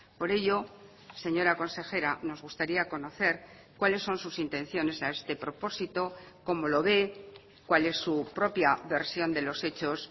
por ello señora consejera nos gustaría conocer cuáles son sus intenciones a este propósito cómo lo ve cuál es su propia versión de los hechos